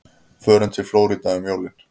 Förum við til Flórída um jólin?